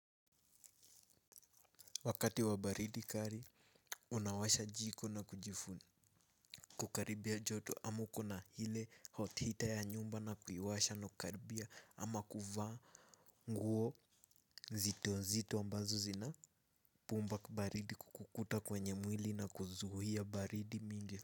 Wakati wa baridi kali, unawasha jiko na kujifuni. Kukaribia joto ama uko na ile hot heater ya nyumba na kuiwasha na kukaribia ama kuvaa nguo nzito nzito ambazo zina pumba baridi kukuta kwenye mwili na kuzuia baridi mingi.